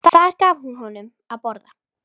Þar gaf hún honum að borða.